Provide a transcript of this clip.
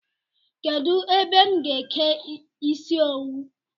Kedụ ebe m ga-eke ịsị owu?